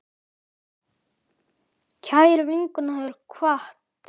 Kær vinkona hefur kvatt.